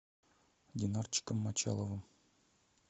динарчиком мочаловым